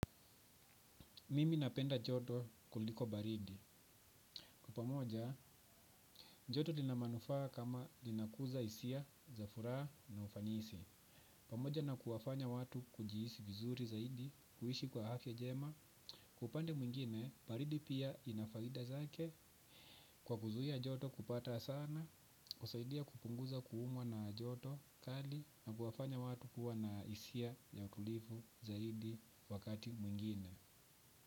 Mimi napenda joto kuliko baridi. Kupamoja, joto lina manufaa kama linakuza hisia, za furaha na ufanisi. Pamoja na kuwafanya watu kujihisi vizuri zaidi, kuishi kwa afya jema. Kwa upande mwingine, baridi pia inafaida zake kwa kuzuia joto kupata sana. Usaidia kupunguza kuumwa na joto kali na kuwafanya watu kuwa na hisia ya utulivu zaidi wakati mwingine.